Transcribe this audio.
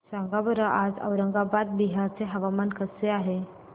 सांगा बरं आज औरंगाबाद बिहार चे हवामान कसे आहे